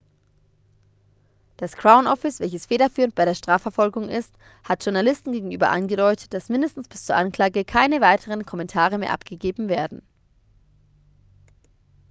das crown office welches federführend bei der strafverfolgung ist hat journalisten gegenüber angedeutet das mindestens bis zur anklage keine weiteren kommentare mehr abgegeben werden